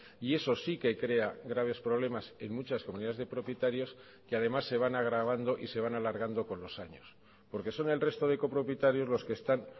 y eso sí que crea graves problemas en muchas comunidades de propietarios que además se van agravando y se van alargando con los años porque son el resto de copropietarios los que están